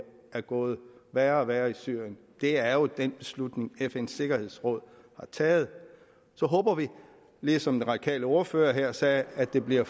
er gået værre og værre i syrien er jo den beslutning fns sikkerhedsråd har taget så håber vi ligesom den radikale ordfører her sagde at det bliver